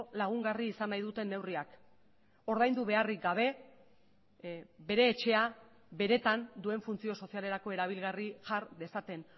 lagungarri izan nahi duten neurriak ordaindu beharrik gabe bere etxea benetan duen funtzio sozialerako erabilgarri jar dezaten